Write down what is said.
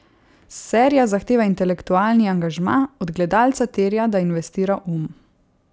Serija zahteva intelektualni angažma, od gledalca terja, da investira um.